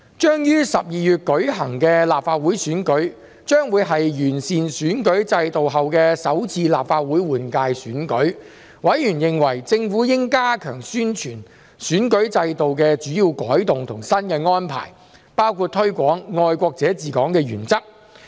將於12月舉行的立法會選舉，將會是完善選舉制度後的首次立法會換屆選舉，委員認為政府應加強宣傳選舉制度的主要改動及新的安排，包括推廣"愛國者治港"原則。